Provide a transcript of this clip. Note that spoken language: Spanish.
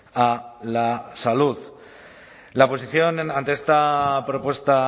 a la salud la posición ante esta propuesta